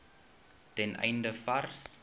ten einde vars